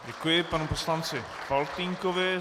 Děkuji panu poslanci Faltýnkovi.